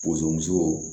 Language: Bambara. Bozomuso